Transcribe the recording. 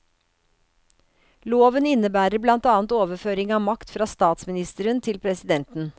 Loven innebærer blant annet overføring av makt fra statsministeren til presidenten.